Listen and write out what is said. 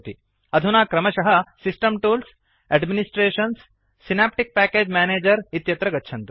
अधुना क्रमशः system tools GT administrations GT Synaptic package manager इत्यत्र गच्छन्तु